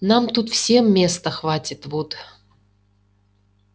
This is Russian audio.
нам тут всем места хватит вуд